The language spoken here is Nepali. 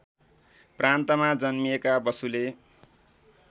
प्रान्तमा जन्मिएका बसुले